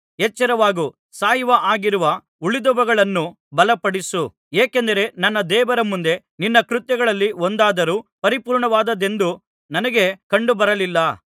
ಎಚ್ಚರವಾಗು ಸಾಯುವ ಹಾಗಿರುವ ಉಳಿದವುಗಳನ್ನು ಬಲಪಡಿಸು ಏಕೆಂದರೆ ನನ್ನ ದೇವರ ಮುಂದೆ ನಿನ್ನ ಕೃತ್ಯಗಳಲ್ಲಿ ಒಂದಾದರೂ ಪರಿಪೂರ್ಣವಾದದ್ದೆಂದು ನನಗೆ ಕಂಡುಬರಲಿಲ್ಲ